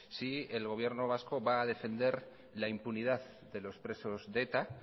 si el gobierno vasco va a defender la impunidad de los presos de eta